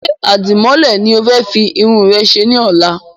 Ṣé Àdìmọ́lẹ̀ ni o fẹ́ fi Irun rẹ ṣe ní ọ̀la?